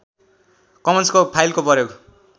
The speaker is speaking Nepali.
कमन्सको फाइलको प्रयोग